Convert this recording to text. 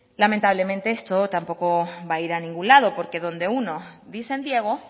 lamentablemente esto tampoco va a ir a ningún lado porque donde unos dicen diego